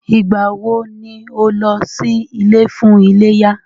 Ìgbà wọ ni o lọ sí ilé fún iléyá?